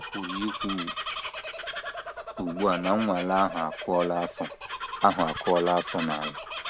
A pụrụ ikwu ugbu a na nnwale ahụ akụọla afọ ahụ akụọla afọ n’ala. ”